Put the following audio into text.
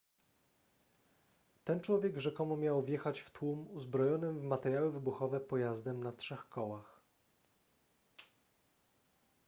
ten człowiek rzekomo miał wjechać w tłum uzbrojonym w materiały wybuchowe pojazdem na trzech kołach